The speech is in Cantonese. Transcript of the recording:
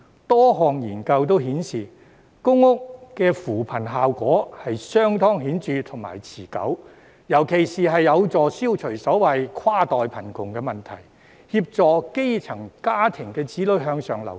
多項研究皆顯示，公屋的扶貧效果相當顯著和持久，特別有助消除所謂"跨代貧窮"的問題，協助基層家庭子女向上流動。